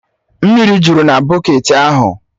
Mmiri jụrụ na bọketi ahụ